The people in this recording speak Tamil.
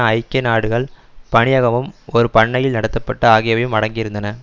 ஐக்கிய நாடுகள் பணியகமும் ஒரு பண்ணையில் நடத்தப்பட்டஆகியவையும் அடங்கியிருந்தன